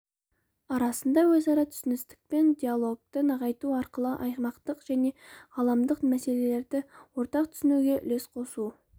арасындағы өзара түсіністік пен диалогты нығайту арқылы аймақтық және ғаламдық мәселелерді ортақ түсінуге үлес қосу